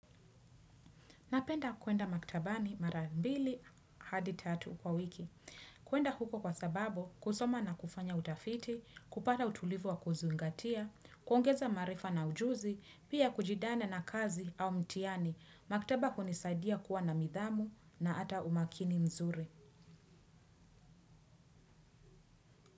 Napenda kuenda maktabani mara mbili hadi tatu kwa wiki. Kuenda huko kwa sababu kusoma na kufanya utafiti, kupata utulivu wa kuzingatia, kuongeza maarifa na ujuzi, pia kujidana na kazi au mtihani. Maktaba hunisaidia kuwa na nidhamu na hata umakini nzuri.